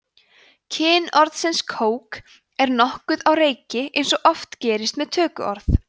kyn orðsins kók er nokkuð á reiki eins og oft gerist með tökuorð